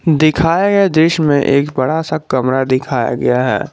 दिखाये गये दृश्य में एक बड़ा सा कमरा दिखाया गया है।